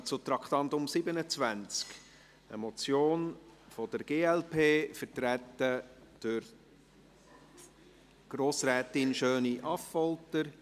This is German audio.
Wir kommen zum Traktandum 27, eine Motion der glp, vertreten durch Grossrätin SchöniAffolter.